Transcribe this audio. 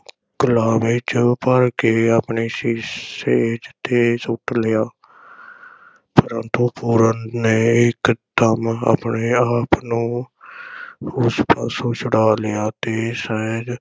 ਕਲਾਵੇ ’ਚ ਭਰ ਕੇ ਆਪਣੀ ਸੇਜ ’ਤੇ ਸੁੱਟ ਲਿਆ ਪ੍ਰੰਤੂ ਪੂਰਨ ਨੇ ਇਕ ਦਮ ਆਪਣੇ ਆਪ ਨੂੰ ਉਸ ਪਾਸੋਂ ਛੁਡਾ ਲਿਆ ਤੇ ਸਹਿਜ